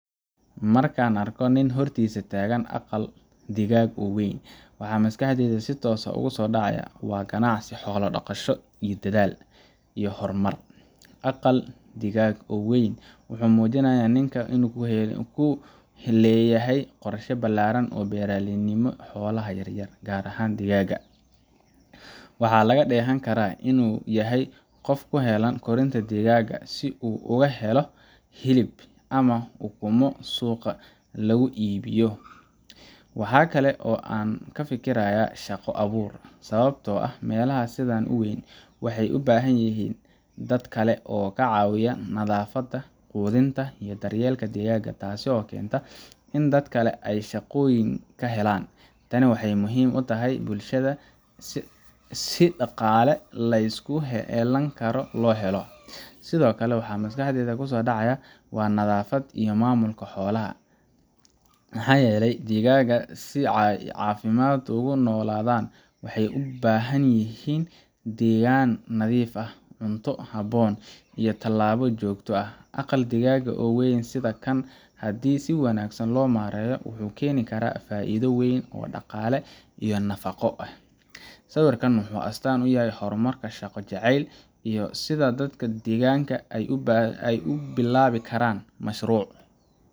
Marka aan arko nin hortiisa taagan aqal digaag oo weyn, waxa maskaxdayda si toos ah ugu soo dhacaya waa ganacsi xoolo-dhaqasho, dedaal, iyo horumar. Aqal digaag weyn wuxuu muujinayaa in ninkan uu leeyahay qorshe ballaaran oo beeralaynimo xoolaha yaryar ah, gaar ahaan digaagga. Waxaa laga dheehan karaa in uu yahay qof u heelan korinta digaagga si uu uga helo , hilib, ama ukunno uu suuqa lagu iibiyo . Waxa kale oo aan ka fekerayaa shaqo-abuur, sababtoo ah meelaha sidaan u weyn waxay u baahan yihiin dad kale oo ka caawiya nadaafadda, quudinta, iyo daryeelka digaagga, taasoo keenta in dad kale ay shaqooyin ka helaan. Tani waxay muhiim u tahay bulshada si dhaqaale la isku halleyn karo loo helo. Sidoo kale, waxaa maskaxdayda ku soo dhacaya nadaafad iyo maamulka xoolaha maxaa yeelay digaagta si ay caafimaad ugu noolaadaan, waxay u baahan yihiin deegaan nadiif ah, cunto habboon, iyo tallaalo joogto ah. Aqal digaag oo weyn sida kan, haddii si wanaagsan loo maareeyo, wuxuu keeni karaa faa’iido weyn oo dhaqaale iyo nafaqo leh. Sawirkan wuxuu astaan u yahay horumar, shaqo jecayl, iyo sida dadka deegaanka ay u bilaabi karaan mashruuc.